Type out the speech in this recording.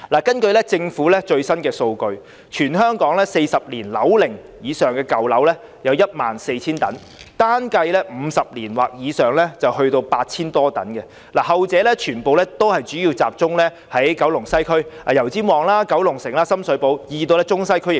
根據政府的最新數據，全港樓齡達40年以上的舊樓有 14,000 幢，單計算樓齡50年或以上的亦有 8,000 多幢，後者全部集中於西九龍，包括油尖旺、九龍城和深水埗區，亦見於中西區。